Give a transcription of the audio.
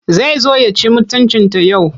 Zai zo ya ci mutuncinta yau.